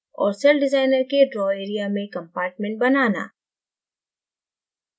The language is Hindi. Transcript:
और celldesigner के draw area में compartment बनाना